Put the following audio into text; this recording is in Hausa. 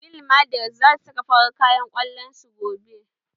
Real madrid zasu saka farar kayan kwallon su gobe